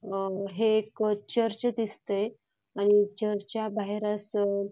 हे एक चर्च दिसतंय आणि चर्चच्या बाहेरच--